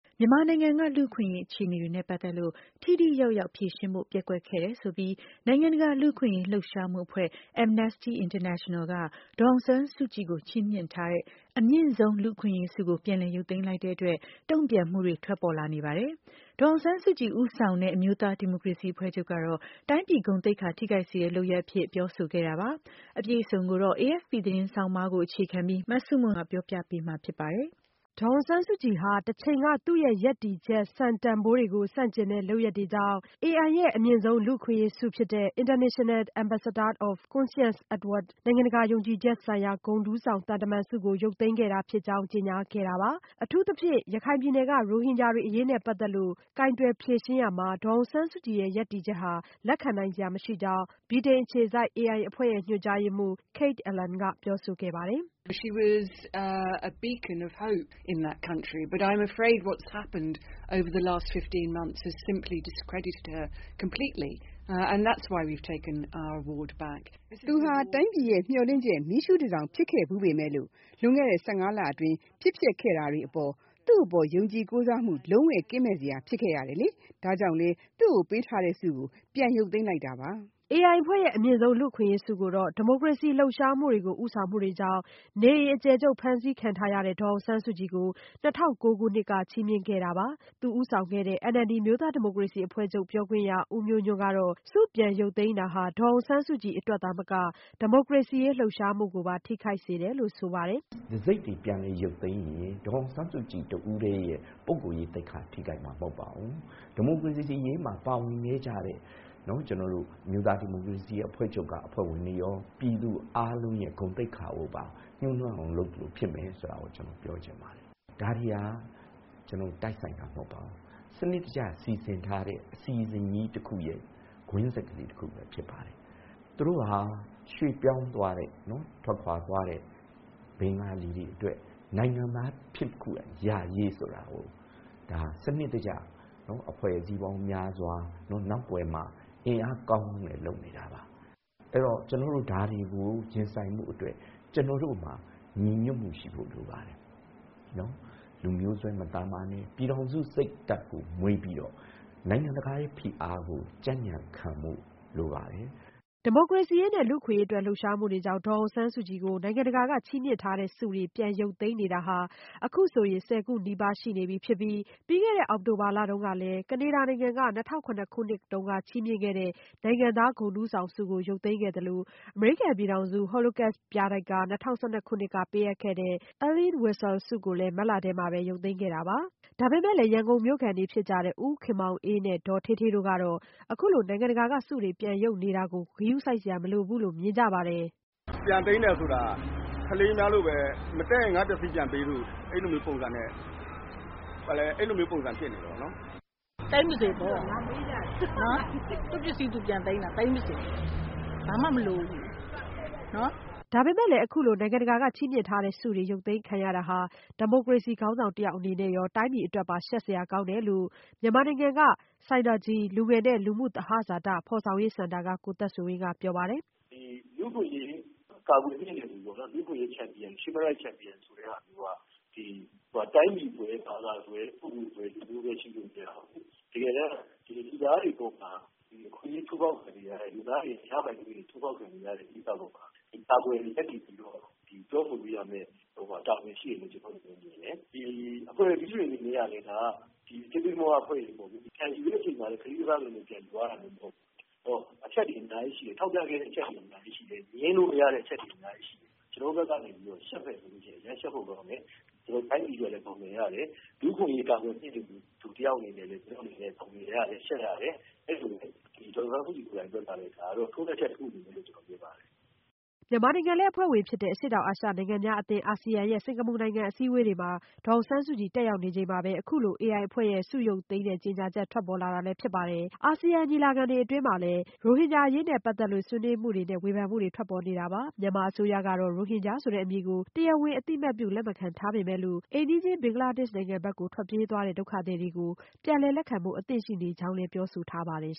မြန်မာနိုင်ငံက လူ့အခွင့်အရေး အခြေအနေတွေနဲ့ ပတ်သက်လို့ ထိထိရောက်ရောက် ဖြေရှင်းဖို့ ပျက်ကွက်ခဲ့တယ်ဆိုပြီး နိုင်ငံတကာ လူ့အခွင့်အရေး လှုပ်ရှားမှုအဖွဲ့ Amnesty International က ဒေါ်အောင်ဆန်းစုကြည်ကို ချီးမြှင့်ထားတဲ့ အမြင့်ဆုံး လူ့အခွင့်အရေးဆုကို ပြန်လည်ရုပ်သိမ်းလိုက်တဲ့အတွက် တုံ့ပြန်မှုတွေ ထွက်ပေါ်လာနေပါတယ်။ ဒေါ်အောင်ဆန်းစုကြည် ဦးဆောင်တဲ့ အမျိုးသား ဒီမိုကရေစီ အဖွဲ့ချုပ်ကတော့ တိုင်းပြည်ဂုဏ်သိက္ခာ ထိခိုက်စေတဲ့ လုပ်ရပ်အဖြစ် ပြောဆိုခဲ့တာပါ။ အပြည့်အစုံကိုတော့ AFP သတင်းဆောင်းပါးကို အခြေခံပြီး မဆုမွန်က ပြောပြပေးမှာ ဖြစ်ပါတယ်။ ဒေါ်အောင်ဆန်းစုကြည်ဟာ တချိန်က သူ့ရဲ့ရပ်တည်ချက် စံတန်ဘိုးတွေကို ဆန့်ကျင်တဲ့ လုပ်ရပ်တွေကြောင့် AI ရဲ့ အမြင့်ဆုံး လူ့အခွင့်အရေးဆုဖြစ်တဲ့ International Ambassador of Conscience Award နိုင်ငံတကာ ယုံကြည်ချက်ဆိုင်ရာ ဂုဏ်ထူးဆောင် သံတမန်ဆုကို ရုပ်သိမ်းခဲ့တာဖြစ်ကြောင်း ကြေညာခဲ့တာပါ။ အထူးသဖြင့် ရခိုင်ပြည်နယ်က ရိုဟင်ဂျာတွေ အရေးနဲ့ ပတ်သက်လို့ ကိုင်တွယ်ဖြေရှင်းရာမှာ ဒေါ်အောင်ဆန်းစုကြည်ရဲ့ ရပ်တည်ချက်ဟာ လက်ခံနိုင်စရာ မရှိကြောင်း ဗြိတိန်အခြေစိုက် AI အဖွဲ့ ညွှန်ကြားရေးမှူး Kate Allen ကပြောဆိုခဲ့တာပါ။ “သူဟာ တိုင်းပြည်ရဲ့ မျှော်လင့်ချက် မီးရှုးတန်ဆောင် ဖြစ်ခဲ့ဖူးပေမဲ့၊ လွန်ခဲ့တဲ့ ၁၅ လအတွင်း ဖြစ်ပျက်ခဲ့တာတွေက သူ့အပေါ် ယုံကြည်ကိုးစားမှုတွေ လုံးဝကင်းမဲ့စရာ ဖြစ်ခဲ့ရပါတယ်။ ဒါကြောင့်လည်း သူ့ကိုပေးထားတဲ့ဆုကို ပြန်ရုပ်သိမ်းတာပါ။” AI အဖွဲ့ရဲ့ အမြင့်ဆုံး လူ့အခွင့်အရေးဆုကိုတော့ ဒီမိုကရေစီ လှုပ်ရှားမှုတွေကို ဦးဆောင်မှုတွေကြောင့် နေအိမ်အကျယ်ချုပ် ဖမ်းဆီးခံထားရတဲ့ ဒေါ်အောင်ဆန်းစုကြည်ကို ၂၀၀၉ ခုနှစ်က ချီးမြှင့်ခဲ့တာပါ။ သူဦးဆောင်တဲ့ NLD အမျိုးသားဒီမိုကရေစီအဖွဲ့ချုပ် ပြောခွင့်ရ ဦးမျိုးညွန့်ကတော့ ဆုပြန်ရုပ်သိမ်းတာဟာ ဒေါ်အောင်ဆန်းစုကြည် အတွက်သာမက ဒီမိုကရေစီရေး လှုပ်ရှားမှုကိုပါ ထိခိုက်စေတယ်လို့ ဆိုပါတယ်။ "တံဆိပ်တွေပြန်လည်ရုပ်သိမ်းရင် ဒေါ်အောင်ဆန်းစုကြည်တဦးတည်းရဲ့ သိက္ခာထိခိုက်မှာမဟုတ်ပါဘူး။ ဒီမိုကရေစီအရေးမှာ ပါဝင်ခဲ့ကြတဲ့ အမျိုးသားဒီမိုကရေစီအဖွဲ့ချုပ်က အဖွဲ့ဝင်တွေရော ။ ပြည်သူအားလုံးဂုဏ်သိက္ခာကိုပါ ညှိးနွမ်းအောင်လုပ်သလို ဖြစ်မယ်ဆိုတာ ကျနော်ပြောချင်ပါတယ်။ ဒါတွေဟာ တိုက်ဆိုင်တာမဟုတ်ပါဘူး စနစ်တကျ စီစဉ်ထားတဲ့ အစီအစဉ်ကြီးတခုရဲ့ ကွင်းဆက်ဖြစ်ပါတယ်။ သူတို့ဟာ ရွှေ့ပြောင်းသွားတဲ့ ထွက်ခွာသွားတဲ့ ဘဂါၤလီတွေအတွက်နိုင်ငံသားဖြစ်ခွင့်ရရရေးဆိုတဲ့ စနစ်တကျ အဖွဲ့အစည်းပေါင်းများစွာ နောက်ကွယ်မှာ အင်အားကောင်းကောင်းနဲ့ လုပ်နေတာပါ။ ဒါတွေကို ကျနော်တို့ ရင်ဆိုင်ဖို့အတွက် ကျနော်တို့မှာ ညီညွတ်မှုရှိဖု့ိလိုပါတယ်။ လူမျိုးစွဲမလုပ်ပဲနဲ့ ပြည်ထောင်စုစိတ်ဓါတ်ကို မွေးပြီးတော့ နိုင်ငံတကာဖိအားကို ကြံကြံခံဖို့လိုပါတယ်။" ဒီမိုကရေစီရေးနဲ့ လူ့အခွင့်အရေးအတွက် လှုပ်ရှားမှုတွေကြောင့် ဒေါ်အောင်ဆန်းစုကြည်ကို နိုင်ငံတကာက ချီးမြှင့်ထားတဲ့ဆုတွေ ရုပ်သိမ်းနေတာ အခုဆိုရင် ၁၀ ခုနီးပါးရှိနေပြီး ပြီးခဲ့တဲ့ အောက်တိုဘာလမှာတုန်းကလည်း ကနေဒါနိုင်ငံက ၂၀၀၇ ခုနှစ်က ချီးမြှင့်ခဲ့တဲ့ နိုင်ငံသားဂုဏ်ထူးဆောင်ဆုကို ရုပ်သိမ်းခဲ့သလို၊ အမေရိကန်ပြည်ထောင်စု Holocaust ပြတိုက်က ၂၀၁၂ခုနှစ် က ပေးအပ်ခဲ့တဲ့ Elie Weisel ဆုကိုလည်း မတ်လထဲမှာပဲ ရုပ်သိမ်းခဲ့တာပါ။ ဒါပေမဲ့လည်း ရန်ကုန်မြို့ခံတွေ ဖြစ်ကြတဲ့ ဦးခင်မောင်အေး နဲ့ ဒေါ်ဌေးဌေး တို့ကတော့ အခုလို နိုင်ငံတကာက ဆုတွေ ပြန်ရုပ်နေတာကို ဂရုစိုက်စရာ မလိုဘူးလို့ မြင်ကြပါတယ်။ " ပြန်သိမ်းတယ်ဆိုတာ ကလေးများလိုပဲ မတည့်ရင် ငါ့ပစ္စည်းပြန်ပေးဆိုပြီး အဲ့လိုမျိုး ပုံစံဖြစ်နေတယ်ပေါ့နော်။" " သိမ်းပါစေပေါ့ သူ့ပစ္စည်း သူပြန်သိမ်းတာပဲ ဘာမှမလိုဘူးနော် " ဒါပေမဲ့လည်း အခုလို နိုင်ငံတကာက ချီးမြှင့်ထားတဲ့ဆုတွေ ရုပ်သိမ်းခံရတာဟာ ဒီမိုကရေစီ ခေါင်းဆောင်တယောက် အနေနဲ့ရော တိုင်းပြည်အတွက်ပါ ရှက်စရာကောင်းတယ်လို့ မြန်မာနိုင်ငံက ဆိုင်နာဂျီ လူငယ်နဲ့ လူမှုသဟဇာတ ဖော်ဆောင်ရေးစင်တာက ကိုသက်ဆွေဝင်းက ပြောပါတယ်။ "လူ့အခွင့်အရေးကာကွယ်မြှင့်တင်သူပေါ့နော် human rights champion ဆိုသူက တိုင်းပြည်စွဲ၊ ဘာသာစွဲ၊ ပုဂ္ဂိုလ်စွဲ၊ လူမျိုးစွဲရှိလိုမရဘူး။ တကယ်တမ်း လူသားတွေအပေါ်မှာ အခွင့်အရေးချိုးဖောက်ခံနေရတဲ့ ၊ ရပိုင်ခွင့်တွေချိုးဖောက်ခံရတဲ့ ကိစ္စမှာ လူသားတွေကို ကာကွယ်ရပ်တည်ပြီးတော့ ပြောဆိုဖို့ တာဝန်ရှိတယ်လို့ ကျနော့်အနေနဲ့ မြင်တယ်။ အဖွဲ့အစည်းတွေအနေနဲ့ကလည်း သေးသေးမွားမွားအဖွဲ့အစည်းမဟုတ်ဘူး ၊ ပြန်ယူတဲ့အခါလည်း ကလေးကစားသလိုမျိုး ပြန်ယူသွားတာမဟုတ်ဘူး။ အဲဒီတော့ အချက်တွေအများကြီးရှိတယ် ထောက်ပြခဲ့တဲ့အချက်တွေအများကြီးရှိတယ်။ ငြင်းလို့မရတဲ့အချက်တွေအများကြီးရှိတယ်။ ကျနေ်ာတို့ဘက်ကနေပြီးတော့ အရမ်းရှက်ဖို့ကောင်းတယ်၊ တိုင်းပြည်အတွက်လည်း မျက်နှာငယ်ရတယ်၊ လူ့အခွင့်အရေးကာကွယ်မြင့်တင်သူ တယောက်အနေနဲ့ ရှက်ရတယ် ဒေါ်အောင်ဆန်းစုကြည် အတွက်လည်း ထိုးနှက်ချက်တခုလို့ မြင်ပါတယ်။" မြန်မာနိုင်ငံလည်း အဖွဲ့ဝင်ဖြစ်တဲ့ အရှေ့တောင်အာရှ နိုင်ငံများအသင်း Asean ရဲ့ စင်္ကာပူနိုင်ငံ အစည်းအဝေးပွဲတွေမှာ ဒေါ်အောင်ဆန်းစုကြည် တက်ရောက်နေချိန်မှာပဲAI အဖွဲ့ရဲ့ ဆုရုပ်သိမ်းတဲ့ ကြေညာချက် ထွက်ပေါ်လာတာလည်း ဖြစ်ပါတယ်။ Asean ညီလာခံအတွင်းမှာလည်း ရိုဟင်ဂျာအရေးနဲ့ ပတ်သက်လို့ ဆွေးနွေးမှုတွေနဲ့ ဝေဖန်မှုတွေထွက်ပေါ်နေတာပါ။ မြန်မာအစိုးရကတော့ ရိုဟင်ဂျာဆိုတဲ့ အမည်ကို တရားဝင်အသိအမှတ်ပြု လက်ခံမထားပေမဲ့ အိမ်နီးချင်း ဘင်္ဂလားဒေ့ရှ်နိုင်ငံကို ထွက်ပြေးသွားတဲ့ ဒုက္ခသည်တွေကို ပြန်လည်လက်ခံဖို့ အသင့်ရှိနေကြောင်းလည်း ပြောဆိုထားပါတယ်